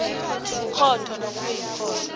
yikhotho nakube ikhotho